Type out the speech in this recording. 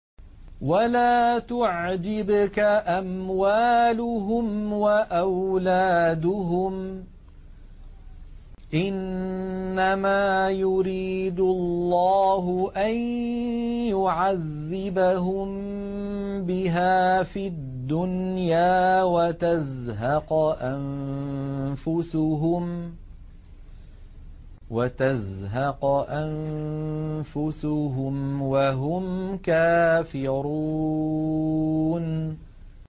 وَلَا تُعْجِبْكَ أَمْوَالُهُمْ وَأَوْلَادُهُمْ ۚ إِنَّمَا يُرِيدُ اللَّهُ أَن يُعَذِّبَهُم بِهَا فِي الدُّنْيَا وَتَزْهَقَ أَنفُسُهُمْ وَهُمْ كَافِرُونَ